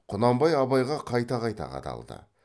құнанбай абайға қайта қайта қадалды